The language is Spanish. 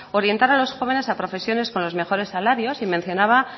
orientar a los jóvenes a profesiones con los mejores salarios y mencionaba